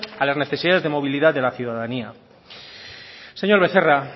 a las necesidades de movilidad de la ciudadanía señor becerra